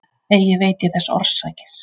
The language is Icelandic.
Eigi veit ég þess orsakir.